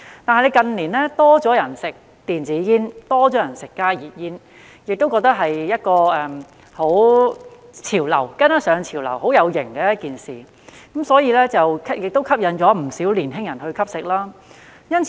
但是，近年有較多人吸食電子煙和加熱煙，覺得這是一個潮流，是跟上潮流、很"有型"的一件事，不少年輕人受到吸引而吸食。